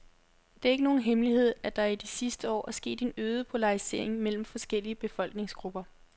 Det er ikke nogen hemmelighed, at der i de sidste år er sket en øget polarisering mellem forskellige befolkningsgrupper.